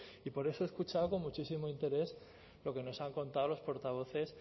y por eso he escuchado con muchísimo interés lo que nos han contado los portavoces